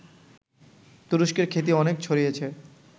তুরস্কের খ্যাতি অনেক ছড়িয়েছে